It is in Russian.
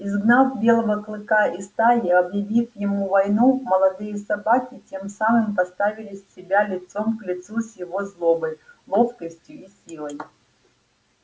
изгнав белого клыка из стаи объявив ему войну молодые собаки тем самым поставили себя лицом к лицу с его злобой ловкостью и силой